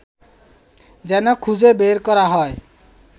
যেন খুজে বের করা হয়